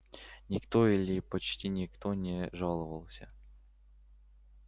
никто или почти никто не жаловался